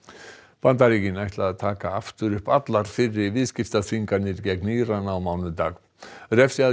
Bandaríkin ætla að taka aftur upp allar fyrri viðskiptaþvinganir gegn Íran á mánudag